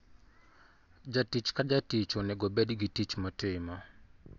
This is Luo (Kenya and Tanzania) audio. Jatich ka jatich onego obed gi tich motimo.